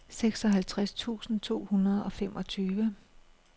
seksoghalvtreds tusind to hundrede og femogtyve